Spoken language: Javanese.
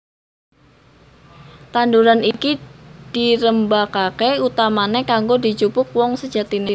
Tanduran iki dirembakaké utamané kanggo dijupuk woh sejatiné